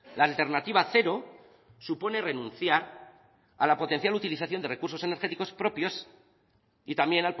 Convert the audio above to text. la alternativa cero supone renunciar a la potencial utilización de recursos energéticos propios y también